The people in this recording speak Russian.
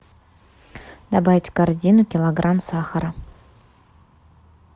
добавить в корзину килограмм сахара